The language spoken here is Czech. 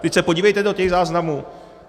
Vždyť se podívejte do těch záznamů.